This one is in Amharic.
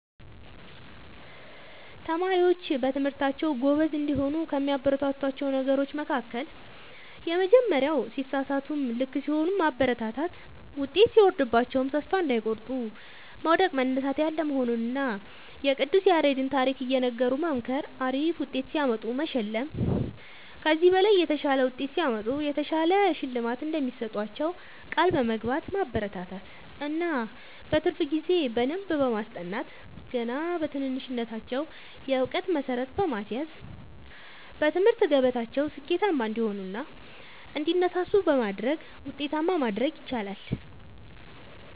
ተማሪዎች በትምህርታቸዉ ጎበዝ እንዲሆኑ ከሚያበረታቷቸዉ ነገሮች መካከል:- የመጀመሪያዉ ሲሳሳቱም ልክ ሲሆኑም ማበረታታት ዉጤት ሲወርድባቸዉም ተስፋ እንዳይቆርጡ መዉደቅ መነሳት ያለ መሆኑንና የቅዱስ ያሬድን ታሪክ እየነገሩ መምከር አሪፍ ዉጤት ሲያመጡ መሸለም ከዚህ በላይ የተሻለ ዉጤት ሲያመጡ የተሻለ ሽልማት እንደሚሰጧቸዉ ቃል በመግባት ማበረታታት እና በትርፍ ጊዜ በደንብ በማስጠናት ገና በትንሽነታቸዉ የእዉቀት መሠረት በማስያዝ በትምህርት ገበታቸዉ ስኬታማ እንዲሆኑ እና እንዲነሳሱ በማድረግ ዉጤታማ ማድረግ ይቻላል።